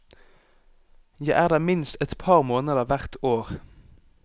Jeg er der minst et par måneder hvert år.